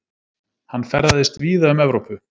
Hann ferðaðist víða um Evrópu.